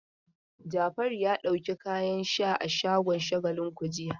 Jafaru ya ɗauki kayan sha a shagon Shagalinku jiya.